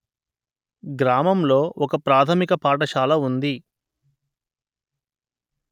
గ్రామంలో ఒక ప్రాథమిక పాఠశాల ఉంది